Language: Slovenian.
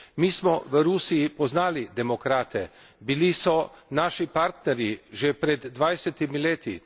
Mi smo v Rusiji poznali demokrate, bili so naši partnerji že pred dvajsetimi leti.